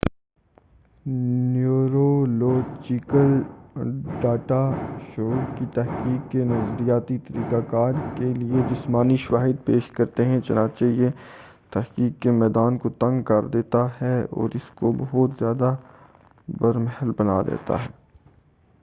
neurological data شعور کی تحقیق کے نظریاتی طریقہ کار کے لئے جسمانی شواہد پیش کرتے ہیں چنانچہ یہ تحقیق کے میدان کو تنگ کردیتا ہے اور اس کو بہت زیادہ بر محل بنا دیتا ہے